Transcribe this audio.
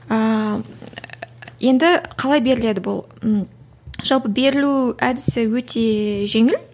ыыы енді қалай беріледі бұл жалпы берілу әдісі өте жеңіл